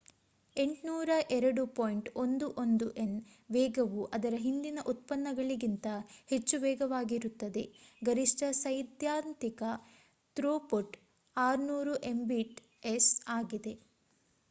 802.11n ವೇಗವು ಅದರ ಹಿಂದಿನ ಉತ್ಪನ್ನಗಳಿಗಿಂತ ಹೆಚ್ಚು ವೇಗವಾಗಿರುತ್ತದೆ ಗರಿಷ್ಠ ಸೈದ್ಧಾಂತಿಕ ಥ್ರೋಪುಟ್ 600mbit/s ಆಗಿದೆ